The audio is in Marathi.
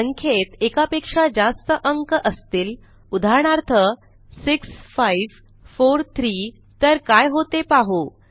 संख्येत एकापेक्षा जास्त अंक असतील उदाहरणार्थ 6543 तर काय होते पाहू